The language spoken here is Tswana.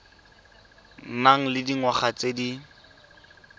nang le dingwaga tse di